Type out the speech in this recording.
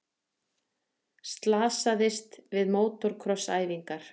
Slasaðist við mótorkross æfingar